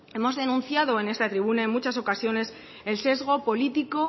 hemos denunciado en esta tribuna en muchas ocasiones el sesgo político